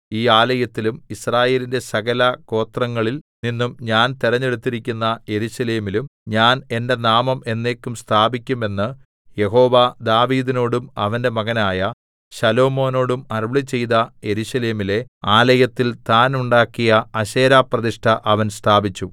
ഈ ആലയത്തിലും യിസ്രായേലിന്റെ സകല ഗോത്രങ്ങളിൽ നിന്നും ഞാൻ തിരഞ്ഞെടുത്തിരിക്കുന്ന യെരൂശലേമിലും ഞാൻ എന്റെ നാമം എന്നേക്കും സ്ഥാപിക്കും എന്ന് യഹോവ ദാവീദിനോടും അവന്റെ മകനായ ശലോമോനോടും അരുളിച്ചെയ്ത യെരൂശലേമിലെ ആലയത്തിൽ താൻ ഉണ്ടാക്കിയ അശേരാപ്രതിഷ്ഠ അവൻ സ്ഥാപിച്ചു